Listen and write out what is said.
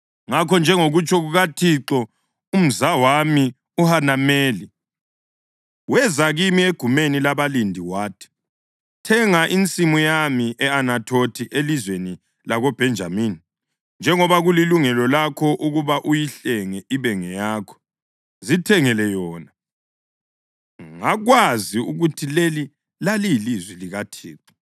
Ngakho, njengokutsho kukaThixo, umzawami uHanameli weza kimi egumeni labalindi wathi, ‘Thenga insimu yami e-Anathothi elizweni lakoBhenjamini. Njengoba kulilungelo lakho ukuba uyihlenge ibe ngeyakho, zithengele yona.’ Ngakwazi ukuthi leli laliyilizwi likaThixo;